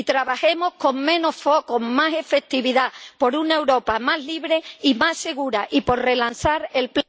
Y trabajemos con menos focos, más efectividad, por una Europa más libre y más segura y por relanzar el